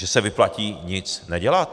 Že se vyplatí nic nedělat!